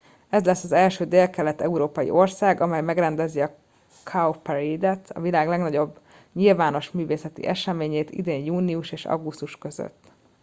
ez lesz az első délkelet európai ország amely megrendezi a cowparade et a világ legnagyobb nyilvános művészeti eseményét idén június és augusztus között